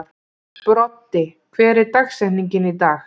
Broddi, hver er dagsetningin í dag?